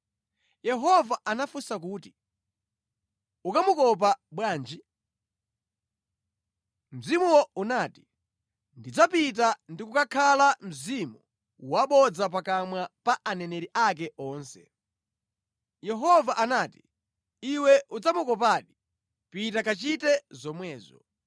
Yehova anafunsa kuti, “Ukamukopa bwanji?” Mzimuwo unati, “Ndidzapita ndi kukakhala mzimu wabodza pakamwa pa aneneri ake onse.” Yehova anati, “ ‘Iwe udzamukopadi. Pita kachite zomwezo.’